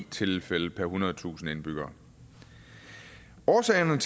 tilfælde per ethundredetusind indbyggere årsagerne